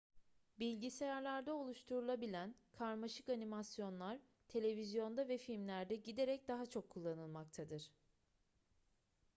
bilgisayarlarda oluşturulabilen karmaşık animasyonlar televizyonda ve filmlerde giderek daha çok kullanılmaktadır